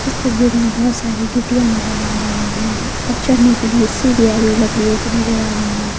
इस तस्वीर में बहुत सारी गिट्टियां नजर आ रही है और चढ़ने के लिए सीढ़ियां भी लकड़ियों की नजर आ रही है।